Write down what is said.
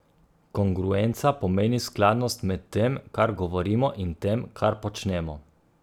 Kongruenca pomeni skladnost med tem, kar govorimo, in tem, kar počnemo.